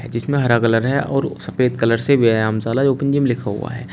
जिसमें हरा कलर है और सफेद कलर से व्यायाम शाला ओपन जिम लिखा हुआ है।